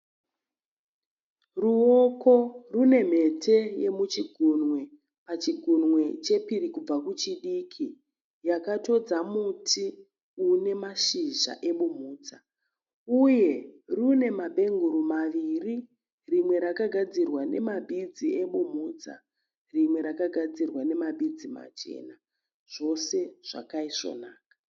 Ruoko rune mhete yemuchigunwe pachigunwe chepiri kubva kuchidiki yakatodza muti une mashizha ebumhudza. Uye rune mabhenguru maviri, rimwe rakagadzirwa nemabhidzi ebumhudza rimwe rakagadzirwa nemabhidzi machena. Zvose zvakaiswonaka.